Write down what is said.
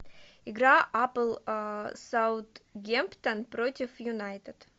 игра апл саутгемптон против юнайтед